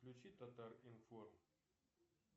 включи татар информ